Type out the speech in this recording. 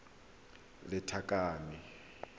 lethakane